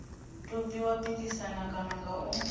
tou pikisana kana nga u